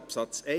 Absatz